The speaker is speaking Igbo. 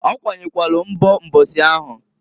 Okwanyekwalu nbo mbosi ahụ.